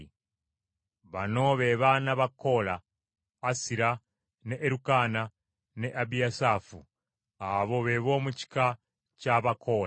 Bano be baana ba Koola: Asira ne Erukaana, ne Abiyasaafu. Abo be b’omu kika kya Abakoola.